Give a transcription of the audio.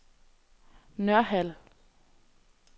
Nørhald